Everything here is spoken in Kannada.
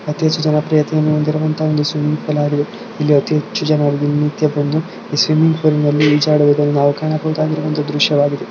ಅತಿ ಹೆಚ್ಚು ಒಂದು ಜನಪ್ರಿಯನ್ನು ಹೊಂದಿರುವಂತ ಒಂದು ಸ್ವಿಮ್ಮಿಂಗ್ ಪೂಲ್ ಆಗಿದೆ ಇಲ್ಲಿ ಅತಿ ಹೆಚ್ಚು ಜನರು ದಿನನಿತ್ಯ ಬಂದು ಸ್ವಿಮ್ಮಿಂಗ್ ಪೂಲ್ ನಲ್ಲಿ ಈಜಾಡುವುದನ್ನು ನಾವು ಕಾಣಬಹುದಾದಂತಹ ದೃಶ್ಯವಾಗಿದೆ.